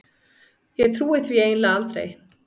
Ég trúi því eiginlega aldrei.